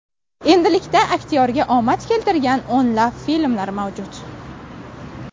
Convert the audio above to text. Endilikda aktyorga omad keltirgan o‘nlab filmlar mavjud.